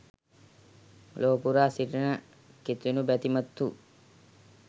ලොව පුරා සිටින කිතුනු බැතිමත්හු